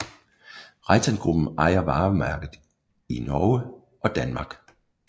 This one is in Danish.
Reitangruppen ejer varemærket i Norge og Danmark